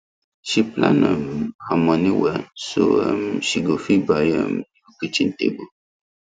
she plan um her money well so um she go fit buy um new kitchen table